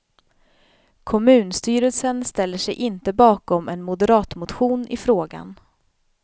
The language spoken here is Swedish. Kommunstyrelsen ställer sig inte bakom en moderatmotion i frågan.